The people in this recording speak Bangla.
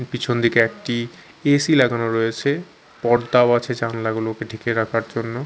পিছন দিকে একটি এ_সি লাগানো রয়েছে পর্দাও আছে জালনাগুলোকে ঢেকে রাখার জন্য।